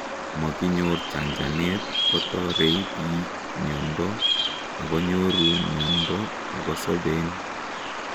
komokinyor chanchanet, kotorei biik miondo angonyoru miondo akosoben